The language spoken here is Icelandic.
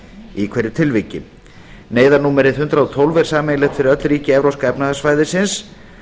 í hverju tilviki neyðarnúmerið hundrað og tólf er sameiginlegt fyrir öll ríki evrópska efnahagssvæðisins